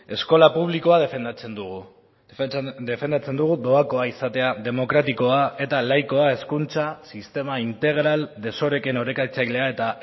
eskola publikoa defendatzen dugu defendatzen dugu doakoa izatea demokratikoa eta laikoa hezkuntza sistema integral desoreken orekatzailea eta